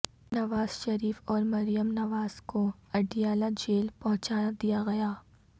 نواز شریف اور مریم نواز کو اڈیالہ جیل پہنچا دیا گیا